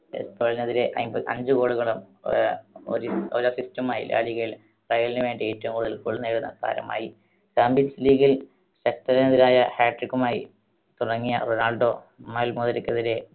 എസ്പാനോളിനെതിരെ അഞ്ച്, അഞ്ച് goal കളും ഒര, ഒരു, ഒരു assist മായി ലാലിഗയിൽ റയലിന് വേണ്ടി ഏറ്റവും കൂടുതൽ goal നേടുന്ന താരമായി. champions league ൽ എതിരായ hat trick മായി തുടങ്ങിയ റൊണാൾഡോ മാൽമോക്കെതിരെ